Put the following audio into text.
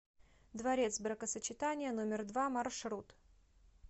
дворец бракосочетания номер два маршрут